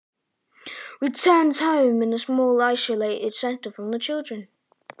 Við snerum heim- í litlu einangrunarstöðina fyrir óhljóð barna.